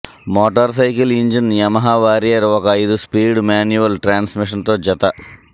motor cycle engine Yamaha Warrior ఒక ఐదు speed manual transmission తో జత